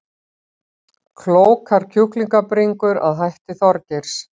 Klókar kjúklingabringur að hætti Þorgeirs